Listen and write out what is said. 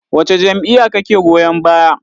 Wace jam'iyya kake goyon baya?